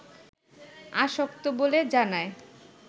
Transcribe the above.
আসক্ত বলে জানায়